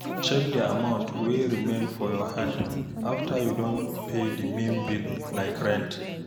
Check di amount wey remain for your hand after you don pay di main bills like rent